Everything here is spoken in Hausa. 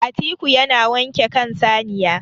atiku yana wanke kan saniya